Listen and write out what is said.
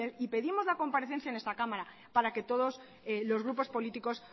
y pedimos la comparecencia en esta cámara para que todos los grupos políticos